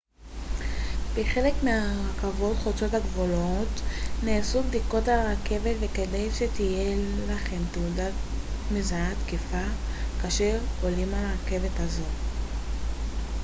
בחלק מהרכבות חוצות הגבולות נעשות בדיקות על הרכבת וכדאי שתהיה לכם תעודה מזהה תקפה כאשר אתם עולים על רכבת כזו